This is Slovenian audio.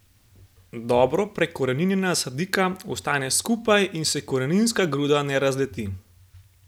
Dobro prekoreninjena sadika ostane skupaj in se koreninska gruda ne razleti.